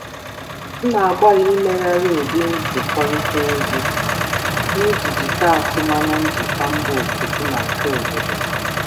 Ana m agbalị um imegharị ụdị nkwurịta okwu m iji gboo atụmanya ndị njikwa si mba ọzọ na nke obodo.